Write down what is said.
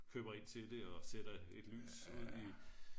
køber ind til det og sætter et lys ud i